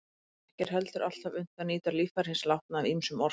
Ekki er heldur alltaf unnt að nýta líffæri hins látna af ýmsum orsökum.